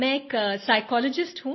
मैं एक साइकोलॉजिस्ट हूँ